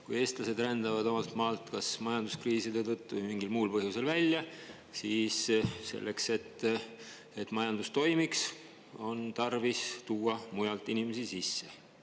Kui eestlased rändavad omalt maalt kas majanduskriiside tõttu või mingil muul põhjusel välja, siis selleks, et majandus toimiks, on tarvis tuua mujalt inimesi sisse.